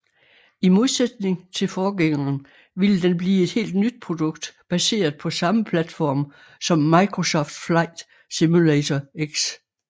I modsætning til forgængeren ville den blive et helt nyt produkt baseret på samme platform som Microsoft Flight Simulator X